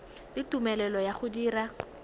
le tumelelo ya go dira